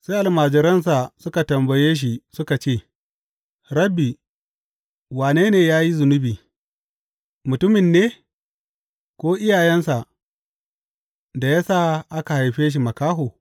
Sai almajiransa suka tambaye shi suka ce, Rabbi, wane ne ya yi zunubi, mutumin ne, ko iyayensa, da ya sa aka haife shi makaho?